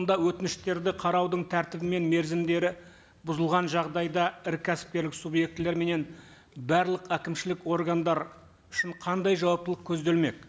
онда өтініштерді қараудың тәртібі мен мерзімдері бұзылған жағдайда ірі кәсіпкерлік субъектілер менен барлық әкімшілік органдар үшін қандай жауаптылық көзделмек